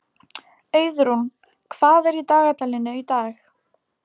Auðrún, hvað er í dagatalinu í dag?